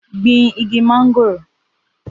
Gbin igi mangoro